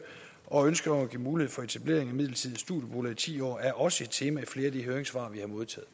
og ønsket om at give mulighed for etablering af midlertidige studieboliger i ti år er også et tema i flere af de høringssvar vi har modtaget